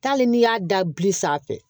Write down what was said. Tali n'i y'a da bili sanfɛ